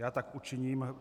Já tak učiním.